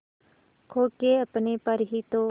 खो के अपने पर ही तो